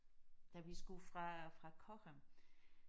Da vi skulle fra fra Cochem